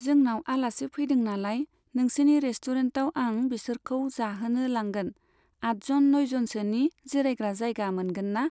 जोंनाव आलासि फैदों नालाय नोंसिनि रेस्तुरेन्टआव आं बिसोरखौ जाहोनो लांगोन, आतजन नयजनसोनि जिरायग्रा जायगा मोनगोन ना?